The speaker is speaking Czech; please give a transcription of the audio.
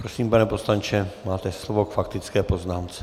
Prosím, pane poslanče, máte slovo k faktické poznámce.